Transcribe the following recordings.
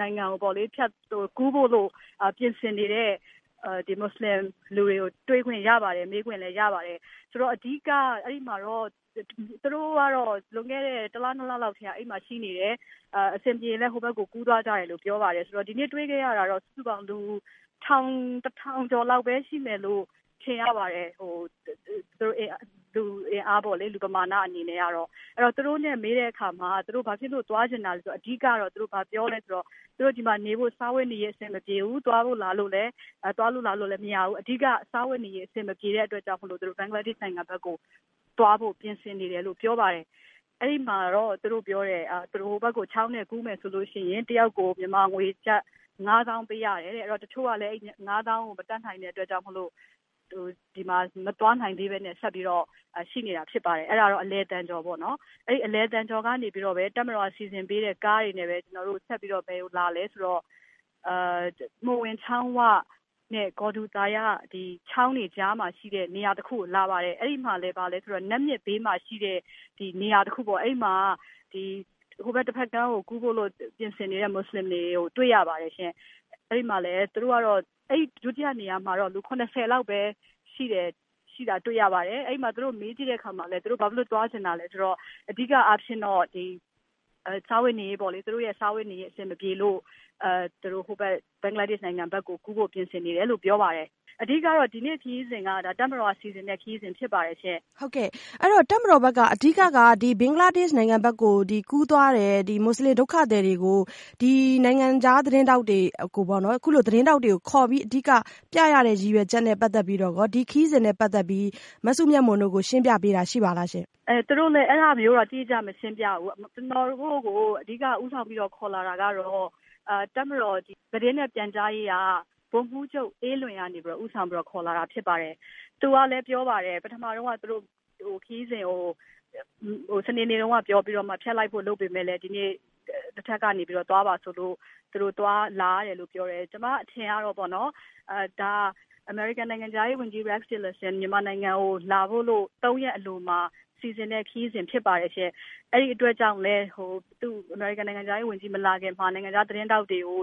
နိုင်ငံကို ကူးဖို့ ပြင်ဆင်နေတဲ့ မွတ်စလင်တွေကို တွေ့ခွင့်ရပါတယ် မေးခွင့်လည်းရပါတယ်။ ဆိုတော့ အဓိကအဲဒီမှာတော့ သူတို့ကတော့ လွန်ခဲ့တဲ့ ၁ လ ၂ လလောက်ကတည်းကနေ အဲဒီမှာ ရှိနေတယ်၊ အဆင်ပြေရင်လည်းဟိုဘက်ကို ကူးသွားကြတယ်လို့ ပြောပါတယ်။ ဆိုတော့ ဒီနေ့တွေ့ခဲ့ရတာကတော့ စုစုပေါင်း လူ ၁ ထောင်ကျော်လောက် ရှိမယ်လို့ ထင်ရပါတယ် လူအင်အားပမာဏ အနေနဲ့ပေ့ါလေ။ သူတို့နဲ့ မေးတဲ့အခါမှာ သူတို့ဘာဖြစ်လို့သွားချင်တာလဲဆိုတော့ အဓိကတော့ ဘာပြောသလဲဆိုတော့ သူတို့ ဒီမှာ နေဖို့ စားဝတ်နေရေးအဆင်မပြေဘူး။ သွားလို့လာလို့လည်းမရဘူး၊ အဓိက စားဝတ်နေရေးအဆင်မပြေတဲ့အတွက် သူတို့ ဘင်္ဂလားဒေ့ရ်ှနိုင်ငံကို သွားဖို့ ပြင်ဆင်နေတယ်လို့ ပြောပါတယ်။ ဟိုဘက်ကို ချောင်းနဲ့ ကူးမယ်ဆိုရင် တယောက်ကို မြန်မာငွေကျပ် ၅ သောင်းပေးရတယ်။ တချို့ကလည်း အဲဒီ ၅ သောင်းကို မတတ်နိုင်တဲ့အတွက် ဒီမှာ မသွားနိုင်သေးပဲနဲ့ ဆက်ပြီးတော့ ရှိနေတာဖြစ်ပါတယ်။ အဲဒါကတော့ အလယ်သံကျော်ပေါ့နော်။ အဲဒီ အလယ်သံကျော်ကနေပြီးတော့ တပ်မတော်ကနေ စီစဉ်ပေးတဲ့ ကားတွေနဲ့ ဆက်ပြီးတော့ မိူဝင်ချောင်းဝနဲ့ ဂျော်ဒူသာရ ချောင်းတွေကြားမှာ ရှိတဲ့ နေရာတခုကိုလာပါတယ်။ အဲဒီမှာလည်း နတ်မြစ်ဘေးမှာ ရှိတဲ့နေရာတခုပေါ့ အဲဒီမှာ တဖက်ကို ကူးဖို့ ပြင်ဆင်နေတဲ့ မွတ်စလင်တွေကို တွေ့ရပါတယ်ရှင့်။ ဒီ နေရာမှာတော့ လူ ၇၀ လောက်ပဲ ရှိတာတွေ့ရပါတယ်။ အဲဒီမှာ မေးကြည့်တဲ့အခါမှ ဘာဖြစ်လို့သွားချင်တာလဲဆိုတော့ အဓိက စားဝတ်နေရေးအဆင်မပြေတဲ့အတွက် သူတို့ ဘင်္ဂလားဒေ့ရ်ှနိုင်ငံကို ကူးဖို့ ပြင်ဆင်နေတယ်လို့ ပြောပါတယ်။ အဓိက ဒီနေ့ ခရီးစဉ်က တပ်မတော်ကနေ စီစဉ်တဲ့ခရီးစဉ်တွေ ဖြစ်ပါတယ်ရှင့်။ မဆုမွန်။ ။တပ်မတော်ဘက်က အဓိက ဘင်္ဂလားဒေ့ရ်ှနိုင်ငံကို ကူးသွားတဲ့ မွတ်ဆလင်ဒုက္ခသည်တွေကို နိုင်ငံခြားသတင်းထောက်တွေ ခေါ်ပြီးပြရတဲ့ အဓိကရည်ရွယ်ချက်နဲ့ ပတ်သက်ပြီး ဒီခရီးစဉ်နဲ့ ပတ်သက်ပြီးမစုမြတ်မွန် တို့ကို ရှင်းပြတာရှိပါသလားရှင့်။ မစုမြတ်မွန်။ ။သူတို့က အဲဒါမျိုးတော့ တိတိကျကျ မရှင်းပြဘူး ကျနော်တို့ကို အဓိက ဦးဆောင်ပြီးတော့ ခေါ်လာတာကတော့ တပ်မတော်သတင်းနဲ့ ပြန်ကြားရေးက ဗိုလ်မှူးချုပ် အေးလွင်ကနေပြီးတော့ ဦးဆောင်ပြီးတော့ ခေါ်လာတာဖြစ်တယ်။ သူကလည်း ခရီးစဉ်ကို စနေနေ့တုန်းက ဖျက်လိုက်ဖို့ လုပ်ပေမယ့် ဒီနေ့ အထက်ကနေပြီးတော့ သွားပါဆိုလို သွားလာရတယ်လို့ ပြောတယ်။ ကျမအထင်ကတော့ ဒါက အမေရိကန်နိုင်ငံခြားရေး ဝန်ကြီး Rex Tillerson မြန်မာနိုင်ငံကို လာဖို့ ၃ ရက်အလိုမှာ စီစဉ်တဲ့ခရီးစဉ်ဖြစ်ပါတယ်။ အဲဒီအတွက်ကြောင့် အမေရိကန်နိုင်ငံခြားရေး ဝန်ကြီးမလာခင်မှာ နိုင်ငံခြားသတင်းထောက်တွေကို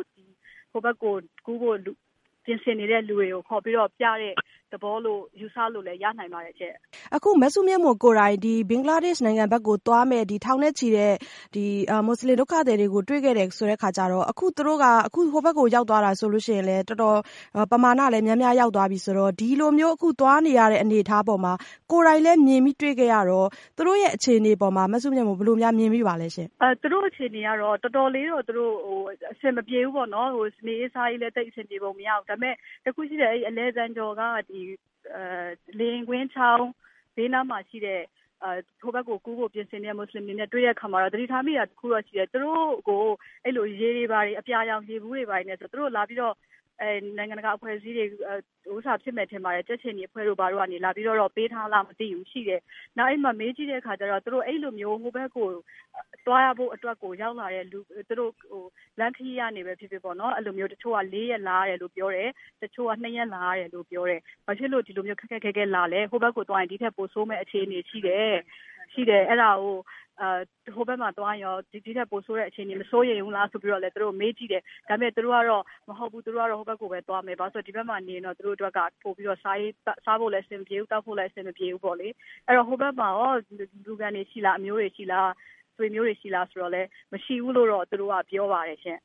ဟိုဘက်ကို ကူးဖို့ ပြင်ဆင်နေတဲ့လူတွေကို ခေါ်ပြီးတော့ ပြတဲ့သဘောလို့ ယူဆလို့လည်း ရနိုင်ပါတယ်။ မဆုမွန်။ ။ အခု မစုမြတ်မွန်ကိုယ်တိုင် ဘင်္ဂလားဒေ့ရ်ှနိုင်ငံဘက်ကို သွားမယ့် ထောင်နဲ့ချီ မွတ်ဆလင်ဒုက္ခသည်တွေကို တွေ့ခဲ့တယ်ဆိုတဲ့ အခါကျတော့ သူတို့ ဟိုဘက်ကို ရောက်သွားတာဆိုရင်လည်း တော်တော်ပမာဏလည်းများများရောက်သွားပြီးဆိုတော့ ဒီလိုမျိုးအခုသွားနေရတဲ့အနေအထားမှာ ကိုယ်တိုင်ကလည်း မြင်တွေ့ခဲ့ရတော့ သူတို့အခြေအနေပေါ်မှာ မစုမြတ်မွန် မြင်မိပါသလဲရှင့်။ မစုမြတ်မွန်။ ။သူတို့အခြေအနေကတော့ တော်တော်လေးတော့ အဆင်မပြေဘူးပေါ့နော်။ နေရေးစားရေးလည်း အဆင်ပြေပုံမရဘူး။ ဒါပေမယ့် တခုရှိတယ်၊ အလည်သံကျော်က လေယာဉ်ကွင်းချောင်းဘေးမှာရှိတဲ့ ဟိုဘက်ကို ကူးဖို့ ပြင်ဆင်တဲ့ မွတ်ဆလင်တွေနဲ့ တွေ့တဲ့အခါမှာ သတိထားမိတာတခုရှိတယ်။ သူတို့ကို လာပြီးတော့ နိုင်ငံတကာအဖွဲ့အစည်းတွေ ၊ ကြက်ခြေနီတို့ လာပေးထားသလားတော့မသိဘူး ရေတွေဘာတွေတော့ရှိတယ်။ နောက်အဲဒီမှာ မေးကြည့်တဲ့အခါကျတော့ ဟိုဘက်ကို သွားရဖို့အတွက်ကိုရောက်လာတဲ့ လူတွေ လမ်းခရီး ကနေပဲဖြစ်ဖြစ် ၄ ရက်လာရတယ် လို့ပြောတယ်၊ တချို့က ၂ ရက်လာရတယ် လို့ပြောတယ်။ ဘာဖြစ်လို့ ဒီလိုမျိုး ခက်ခက်ခဲခဲလာသလဲ ဟိုဘက်ကို သွားရင် ဒီထက်ပိုဆိုးမယ့် အခြေအနေရှိတယ်။ အဲဒါကို ဟိုဘက်မှာသွားရင် ဒီထက်ပိုဆိုးမယ့် အခြေအနေမစိုးရိမ်ဘူးလား ဆိုပြီးမေးကြည့်တယ် ဒါပေမယ့် သူတို့ကတော့ မဟုတ်ဘူး ဟိုဘက်ကိုပဲ သွားမယ် ဒီဘက်မှာနေရင် သူတို့အတွက်က စားဖို့လည်းအဆင်မပြေဘူး သောက်ဖို့လည်း အဆင်မပြေဘူး ပေါ့လေ။ ဟိုဘက်မှာရော လူခံတွေရှိသလား အမျိုးတွေ ရှိသလား ဆိုတော့လည်း မရှိဘူးလို့တော့ ပြောပါတယ်ရှင့်